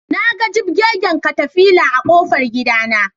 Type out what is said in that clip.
Naga jibgegen katafila a ƙofar gidana